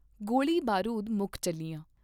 ਗੋਲੀ ਬਾਰੂਦ ਮੁਕ ਚੱਲਿਆ।